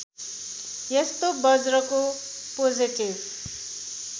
यस्तो बज्रको पोजेटिभ